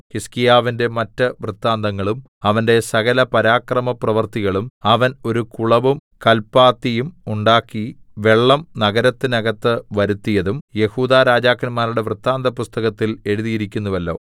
ഹിസ്കീയാവിന്റെ മറ്റ് വൃത്താന്തങ്ങളും അവന്റെ സകലപരാക്രമപ്രവൃത്തികളും അവൻ ഒരു കുളവും കല്പാത്തിയും ഉണ്ടാക്കി വെള്ളം നഗരത്തിന്നകത്ത് വരുത്തിയതും യെഹൂദാ രാജാക്കന്മാരുടെ വൃത്താന്തപുസ്തകത്തിൽ എഴുതിയിരിക്കുന്നുവല്ലോ